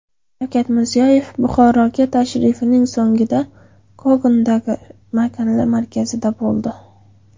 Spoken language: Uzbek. Shavkat Mirziyoyev Buxoroga tashrifining so‘ngida Kogondagi mahalla markazida bo‘ldi.